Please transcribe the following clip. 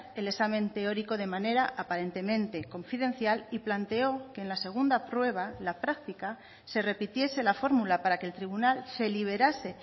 el examen teórico de manera aparentemente confidencial y planteó que en la segunda prueba la práctica se repitiese la fórmula para que el tribunal se liberase